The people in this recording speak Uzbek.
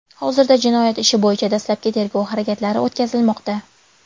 Hozirda jinoyat ishi bo‘yicha dastlabki tergov harakatlari o‘tkazilmoqda.